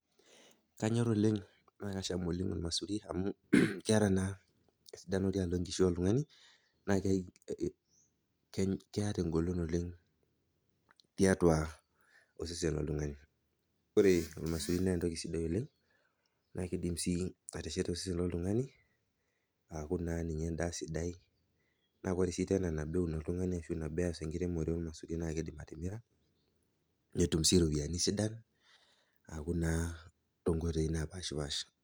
Kanyor oleng, naa kasham oleng olmesuri amu keata naa esidano tenkishui oltung'ani, keata engolon oleng tiatua osesen loltung'ani ore olemesuri naa entoki sidai oleng, naa keidim sii atesheta osesen loltung'ani aaku naa ninye endaa sidai, naa ore sii tena nabo eun oltung'ani ashu nabo eas enkiremore olmesuri naa keidim atimira netum sii iropiani sidan aaku naa tonkoitoi naapaashipaasha.